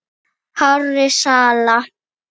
hárra sala.